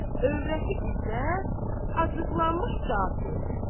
Övrəti İzzət, acıqlanmış cavab verdi.